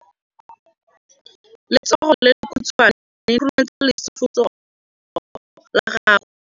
Letsogo le lekhutshwane le khurumetsa lesufutsogo la gago.